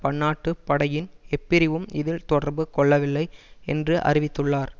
பன்னாட்டு படையின் எப்பிரிவும் இதில் தொடர்பு கொள்ளவில்லை என்று அறிவித்துள்ளார்